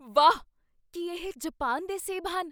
ਵਾਹ! ਕੀ ਇਹ ਜਪਾਨ ਦੇ ਸੇਬ ਹਨ?